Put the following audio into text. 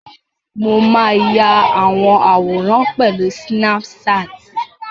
Mo máa ya àwọn àwòrán pẹ̀lú sínáp-saàtì